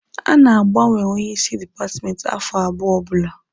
A na-agbanwe onye isi dipatmenti afọ abụọ ọbụla